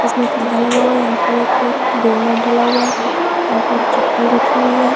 इसमें एक पौधा लगा हुआ है यहां पर एक डोरमैट डला हुआ है यहां पर चप्पल रखी हुई है।